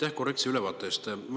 Aitäh korrektse ülevaate eest!